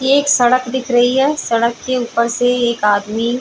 ये एक सड़क दिख रही है सड़क के ऊपर से एक आदमी --